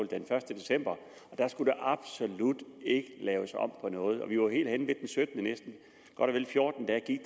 den første december og da skulle der absolut ikke laves om på noget vi var helt henne den syttende godt og vel fjorten dage gik